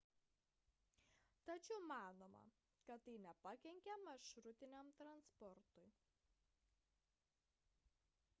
tačiau manoma kad tai nepakenkė maršrutiniam transportui